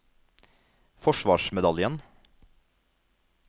forsvarsmedaljen